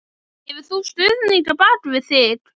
Hefur þú stuðning á bakvið þig?